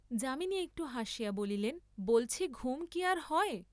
যামিনী একটু হাসিয়া বলিলেন বলছি ঘুম কি আর হয়!